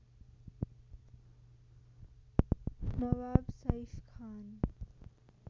नवाब Saif खान